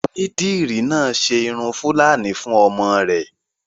Onídìrí náà ṣe irun fúlàní fún ọmọ rẹ̀